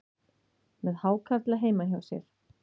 Með hákarla heima hjá sér